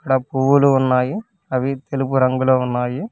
ఇక్కడ పువ్వులు ఉన్నాయి అవి తెలుపు రంగులో ఉన్నాయి.